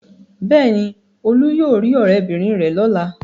Bẹ́ẹ̀ ni, Olú yóò rí ọ̀rẹ́bìnrin rẹ̀ lọ́la.